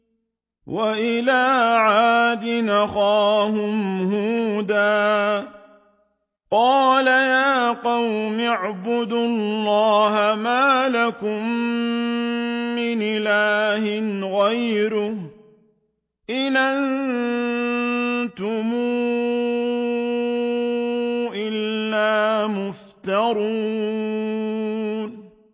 وَإِلَىٰ عَادٍ أَخَاهُمْ هُودًا ۚ قَالَ يَا قَوْمِ اعْبُدُوا اللَّهَ مَا لَكُم مِّنْ إِلَٰهٍ غَيْرُهُ ۖ إِنْ أَنتُمْ إِلَّا مُفْتَرُونَ